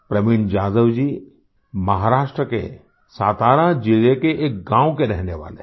प्रवीण जाधव जी महाराष्ट्र के सतारा ज़िले के एक गाँव के रहने वाले हैं